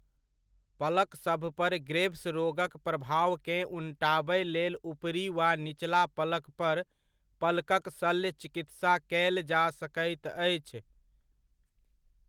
पलकसभ पर ग्रेभ्स रोगक प्रभावकेँ उनटाबय लेल ऊपरी वा निचला पलक पर पलकक शल्य चिकित्सा कयल जा सकैत अछि।